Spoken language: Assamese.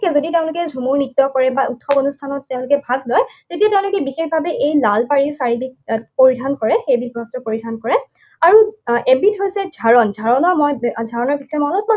যদি তেওঁলোকে ঝুমুৰ নৃত্য কৰে বা উৎসৱ অনুষ্ঠানত তেওঁলোকে ভাগ লয়, তেতিয়া তেওঁলোকে বিশেষভাৱে এই লাল পাৰিৰ শাৰীবিধ তেওঁ পৰিধান কৰে। সেইবিধ বস্ত্ৰ পৰিধান কৰে। আৰু এবিধ হৈছে ঝাৰণ। ঝৰণৰ মই ঝাৰণৰ